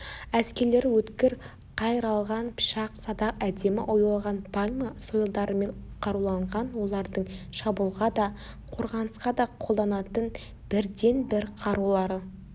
әскерлері өткір қайралған пышақ садақ әдемі оюлаған пальма сойылдарымен қаруланған олардың шабуылға да қорғанысқа да қолданатын бірден-бір қарулары